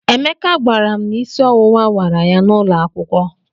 Emeka gwara m na isi ọwụwa wara ya n'ụlọ akwụkwọ.